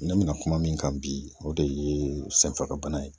Ne bɛna kuma min kan bi o de ye senfagabana ye